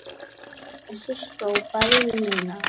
Jesús hrópaði Nína.